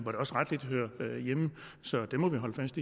så det må vi holde fast